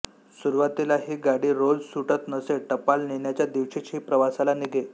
सुरुवातीला ही गाडी रोज सुटत नसे टपाल नेण्याच्या दिवशीच ही प्रवासाला निघे